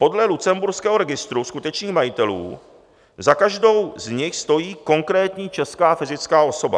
Podle lucemburského registru skutečných majitelů za každou z nich stojí konkrétní česká fyzická osoba.